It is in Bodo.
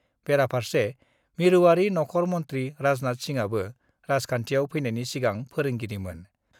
बेराफारसे मिरुआरि नख'र मन्थि राजनाथ सिंहआबो राजखान्थियाव फैनायनि सिगां फोरोंगिरिमोन।